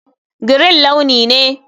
Green launi ne.